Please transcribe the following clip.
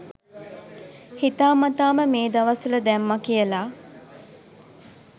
හිතා මතාම මේ දවස්වල දැම්ම කියල.